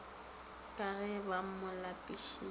ka ge ba mo lapišitše